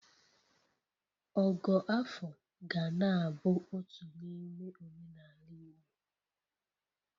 Ogo afọ ga na-abụ otu n’ime omenala Igbo